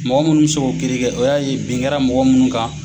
Mɔgɔ minnu min se k'o kiiri kɛ o y'a ye bin kɛra mɔgɔ minnu kan.